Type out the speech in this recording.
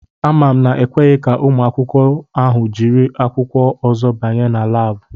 Ama m na ekweghi ka ụmụ akwụkwọ ahụ jiri akwụkwọ ozo banye na Láábu